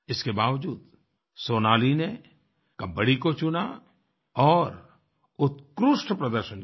इसके बावजूद सोनाली ने कबड्डी को चुना और उत्कृष्ट प्रदर्शन किया